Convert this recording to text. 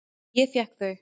Ég fékk þau.